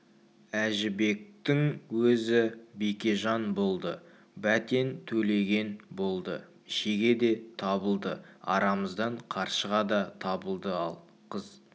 әжібектің өзі бекежан болды бәтен төлеген болды шеге де табылды арамыздан қаршыға да табылды ал қыз